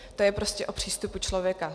To je prostě o přístupu člověka.